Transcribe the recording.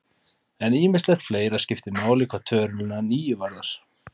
En ýmislegt fleira skiptir máli hvað töluna níu varðar.